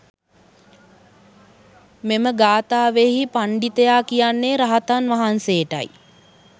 මෙම ගාථාවෙහි පණ්ඩිතයා කියන්නේ රහතන් වහන්සේටයි.